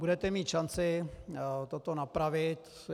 Budete mít šanci toto napravit.